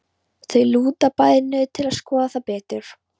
Þau lúta bæði niður til að skoða það betur.